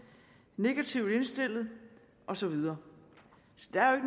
negativt indstillet og så videre så der er jo